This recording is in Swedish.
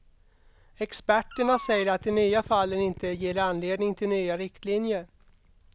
Experterna säger att de nya fallen inte ger anledning till nya riktlinjer.